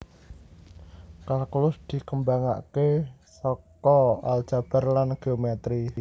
Kalkulus dikembangké saka aljabar lan geometri